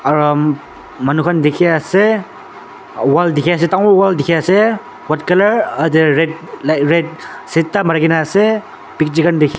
um manukhan dikhi ase wall dikhi ase dangor wall dikhi ase white colour te red ah red mari kena ase picture khan dik.